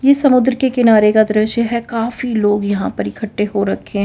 ये समुद्र के किनारे का दृश्य है काफी लोग यहां पर इकट्ठे हो रखे हैं।